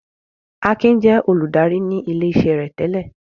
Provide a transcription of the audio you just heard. Akin jẹ́ olùdarí ní ilé-iṣẹ́ rẹ̀ tẹ́lẹ̀.